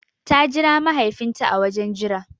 Ta jira mahaifin ta a wajen jira